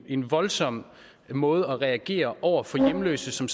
en voldsom måde at reagere på over for hjemløse som